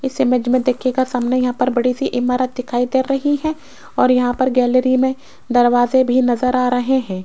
इस इमेज देखियेगा सामने यहां पर बड़ी सी इमारत दिखाई दे रही है और यहां पर गैलरी में दरवाजे भी नजर आ रहे हैं।